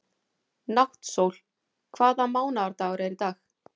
Náttsól, hvaða mánaðardagur er í dag?